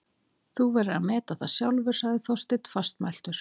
Þú verður að meta það sjálfur- sagði Þorsteinn fastmæltur.